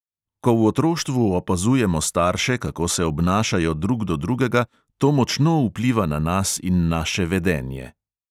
Ko v otroštvu opazujemo starše, kako se obnašajo drug do drugega, to močno vpliva na nas in naše vedenje.